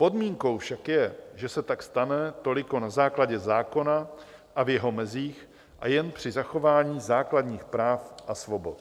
Podmínkou však je, že se tak stane toliko na základě zákona a v jeho mezích a jen při zachování základních práv a svobod.